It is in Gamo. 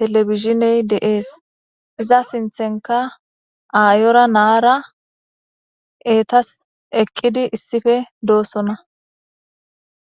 televisioneyi de'ees.iza sinththonikka ayora naara etasi eqidi issippe dosona.